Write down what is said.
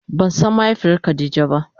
Ba san mahaifiyar khadija ba.